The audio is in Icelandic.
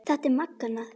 Þetta er magnað.